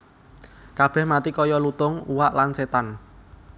Kabèh mati kaya lutung uwak lan sétan